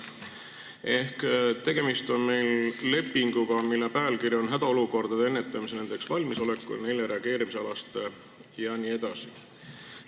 Meil on tegemist lepinguga, mille pealkiri on "Hädaolukordade ennetamise, nendeks valmisoleku ja neile reageerimise alase ..." jne.